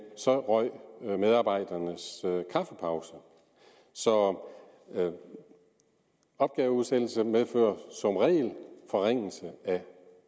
så røg medarbejdernes kaffepause så opgaveudsættelse medfører som regel forringelse af